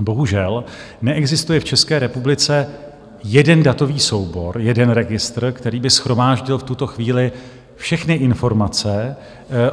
Bohužel, neexistuje v České republice jeden datový soubor, jeden registr, který by shromáždil v tuto chvíli všechny informace